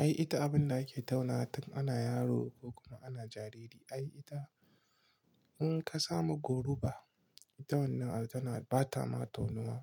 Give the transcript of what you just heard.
Ai ita abunda ake tauna tun ana yaro ko kuma ana jariri. Ai ita in ka samu goru ba, ita wannan tana ba ta ma taunawa.